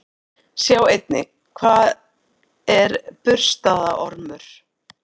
Sjá einnig: Hvað er burstaormur?